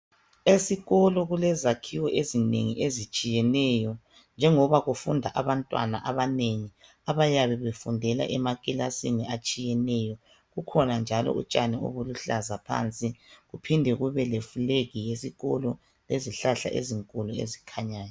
Esikolo kulezakhiwo ezinengi ezitshiyeneyo, njengoba kufunda abantwana abanengi abayabe befundela emakilasini atshiyeneyo. Kukhona njalo utshani obuluhlaza phansi, kuphinde kube le fulegi yesikolo, lezihlahla ezinkulu ezikhanyayo.